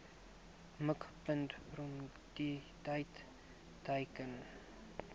mikpunt prioriteit teiken